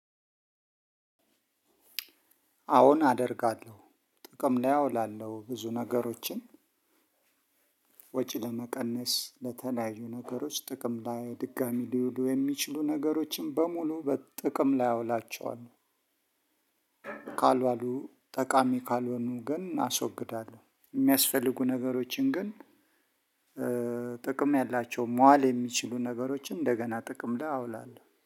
አዎን አደርጋለሁ ጥቅም ላይ እውላለሁ ብዙ ነገሮችን። ወጪ ለመቀነስ ለተለያዩ ነገሮች ጥቅም ላይ ድጋሚ ሊውሉ የሚችሉ ነገሮችን በሙሉ በጥቅም ላይ አውላቸዋለሁ። ካልዋሉ ጠቃሚ ካልሆኑ ግን አስወግዳለሁ። የሚያስፈልጉ ነገሮችን ግን ጥቅም ያላቸውን መዋል የሚችሉ ነገሮችን እንደገና ጥቅም አውላለሁ